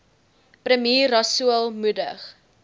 premier rasool moedig